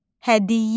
Hədiyyə.